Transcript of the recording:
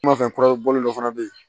N ma fɛn kurabɔ dɔ fana bɛ ye